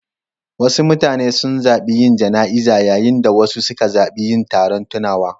Wasu mutane sun zaɓi yin jana'iza, yayin da wasu suka zaɓi yin taron tunawa.